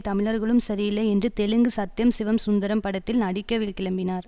தமிழர்களும் சரியில்லை என்று தெலுங்கு சத்யம் சிவம் சுந்தரம் படத்தில் நடிக்க கிளம்பினார்